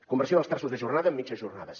conversió dels terços de jornada en mitges jornades